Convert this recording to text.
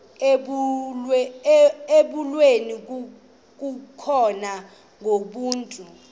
ibulewe kukopha ngokomntu